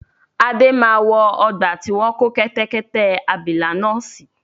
Adé máa wọ ọgbà tí wọn kò kẹ́tẹ́kẹ́tẹ́ abìlà náà si